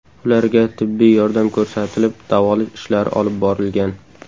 Ularga tibbiy yordam ko‘rsatilib, davolash ishlari olib borilgan.